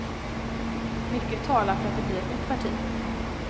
Mycket talar för att det blir ett nytt parti.